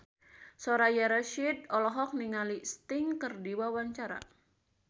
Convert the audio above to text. Soraya Rasyid olohok ningali Sting keur diwawancara